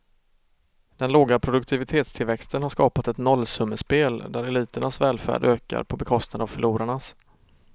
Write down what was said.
Den låga produktivitetstillväxten har skapat ett nollsummespel, där eliternas välfärd ökar på bekostnad av förlorarnas.